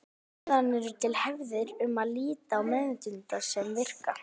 Síðan eru til hefðir sem líta á meðvitundina sem virka.